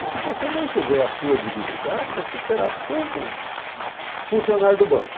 E se você mantiver a sua dignidade, você será sempre funcionário do banco.